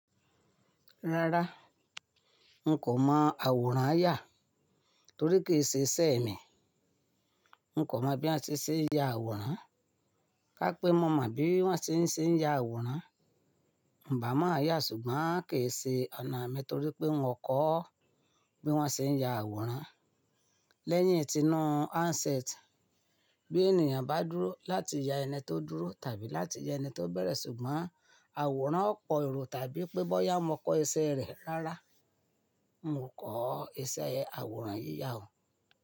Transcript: Rárá, mo kò mọ àwòrán àyà torí kì í ṣe iṣẹ́ mi. Mo kò mọ bí wọ́n ṣe ń ṣe ya àwòrán. Ká pé mo mọ bí wọ́n ṣe ń ṣe ya àwòrán, n bá máa yà ṣùgbọ́n a kì í ṣe ọ̀nà mi torí pé n mò kọ́ bí wọ́n ṣe ń ya àwòrán. Lẹ́yìn tí inú handset, bí ènìyàn bá dúró láti ya ẹni tó dúró tàbí láti ya ẹni tó bẹ̀rẹ̀ ṣùgbọ́n àwòrán ó po èrò tàbí pé bóyá mo kọ iṣẹ́ rẹ̀. Rárá, mi ọ ko iṣẹ́ àwòrán yíya o.